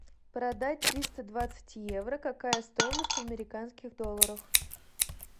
продать триста двадцать евро какая стоимость в американских долларах